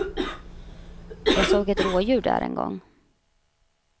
Jag såg ett rådjur där en gång.